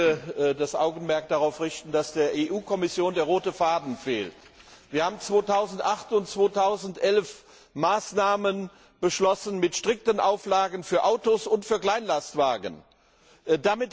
Ich möchte das Augenmerk darauf richten, dass der EU Kommission der rote Faden fehlt. Wir haben 2008 und 2011 Maßnahmen mit strikten Auflagen für Autos und für Kleinlastwagen beschlossen.